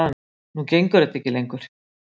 Nú gengur þetta ekki lengur